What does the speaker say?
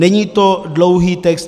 Není to dlouhý text.